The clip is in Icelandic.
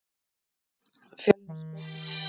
Fjölnisgötu